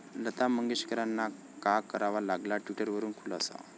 लता मंगेशकरांना का करावा लागला ट्विटरवरून खुलासा?